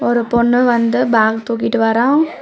ஒரு பொண்ணு வந்து பேக் தூக்கிட்டு வரா.